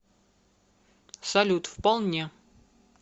салют вполне